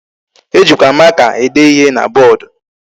E jikwa maka ede ihe na board.